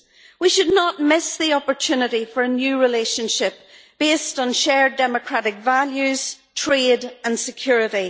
We should not miss the opportunity for a new relationship based on shared democratic values, trade and security.